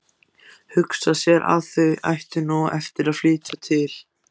Hugsa sér ef þau ættu nú eftir að flytja til